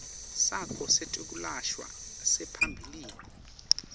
sakho setekwelashwa saphambilini